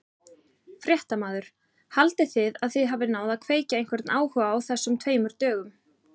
Fréttamaður: Haldið þið að þið hafið náð að kveikja einhvern áhuga á þessum tveimur dögum?